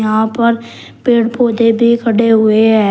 यहां पर पेड़ पौधे भी खड़े हुए हैं।